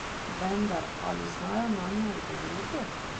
Vendar ali znajo nanje odgovoriti?